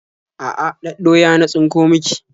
A'a, ɗaɗɗoya na tsinko miki.